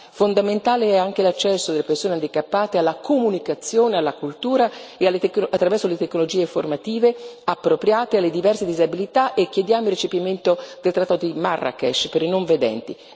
Fondamentale è anche l'accesso delle persone handicappate alla comunicazione, alla cultura e attraverso le tecnologie informative appropriate alle diverse disabilità e chiediamo il recepimento del trattato di Marrakesh per i non vedenti.